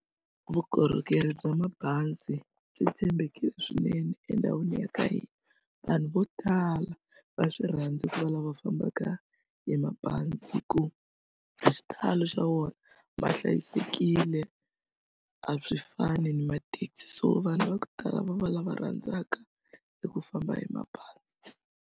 Vukorhokeri bya mabazi byi tshembekile swinene endhawini ya ka hina vanhu vo tala va swi rhandzi ku va lava fambaka hi mabazi hi ku hi xitalo xa wona ma hlayisekile a swi fani na mathekisi so vanhu va ku tala va lava rhandzaka eku famba hi mabazi.